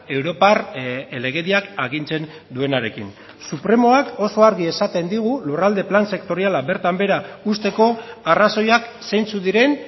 europar legediak agintzen duenarekin supremoak oso argi esaten digu lurralde plan sektoriala bertan behera uzteko arrazoiak zeintzuk diren